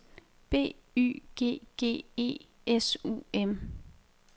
B Y G G E S U M